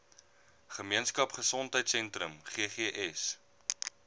gemeenskap gesondheidsentrum ggs